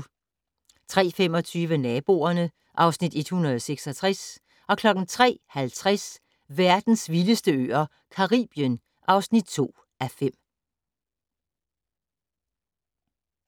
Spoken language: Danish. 03:25: Naboerne (Afs. 166) 03:50: Verdens vildeste øer - Caribien (2:5)